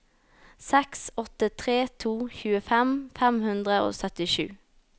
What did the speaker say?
seks åtte tre to tjuefem fem hundre og syttisju